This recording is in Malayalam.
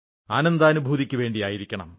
ആനന്ദാനുഭൂതിക്കുവേണ്ടിയായിരിക്കണം